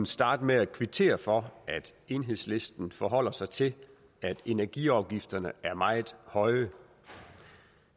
starte med at kvittere for at enhedslisten forholder sig til at energiafgifterne er meget høje